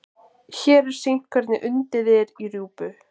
Hér er sýnt hvernig undið er í rjúpu.